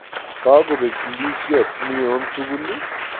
Kakobek ndisiot neo tugul